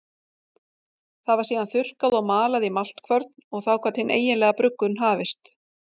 Það var síðan þurrkað og malað í maltkvörn og þá gat hin eiginlega bruggun hafist.